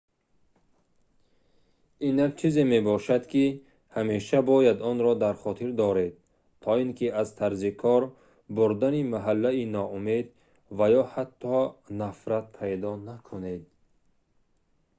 ин як чизе мебошад ки ҳамеша бояд онро дар хотир доред то ин ки аз тарзи кор бурдани маҳаллӣ ноумед ва ё ҳатто нафрат пайдо накунед